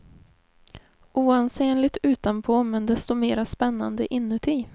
Oansenligt utanpå, men desto mera spännande inuti.